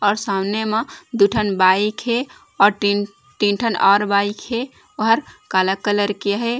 और सामने मा दू ठन बाइक हे अउ तीन तीन ठन और बाइक हे अउर काला कलर के हे।